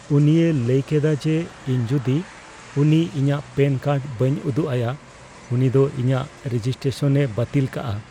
ᱩᱱᱤᱭ ᱞᱟᱹᱭ ᱠᱮᱫᱟ ᱡᱮ, ᱤᱧ ᱡᱩᱫᱤ ᱩᱱᱤ ᱤᱧᱟᱹᱜ ᱯᱮᱱ ᱠᱟᱨᱰ ᱵᱟᱹᱧ ᱩᱫᱩᱜ ᱟᱭᱟ, ᱩᱱᱤ ᱫᱚ ᱤᱧᱟᱜ ᱨᱮᱡᱤᱥᱴᱨᱮᱥᱚᱱᱼᱮ ᱵᱟᱹᱛᱤᱞ ᱠᱟᱜᱼᱟ ᱾